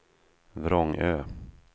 Vrångö